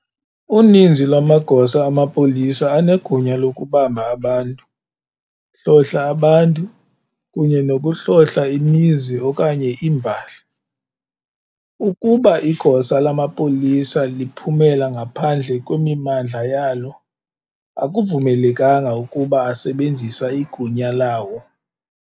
Uninzi lwamagosa amapolisa anegunya lokubamba abantu, hlola abantu, kunye nokuhlola imizi okanye iimpahla. Ukuba igosa lamapolisa liphumela ngaphandle kwe-mimmandla yalo, akavumelekanga ukuba asebenzise igunya lawo.